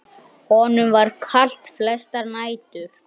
Honum var kalt flestar nætur.